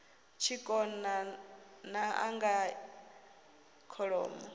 tshikona n anga ya kholomo